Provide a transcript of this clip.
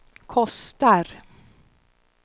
kostar